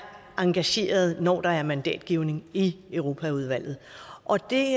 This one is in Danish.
engagerede når der er mandatgivning i europaudvalget og det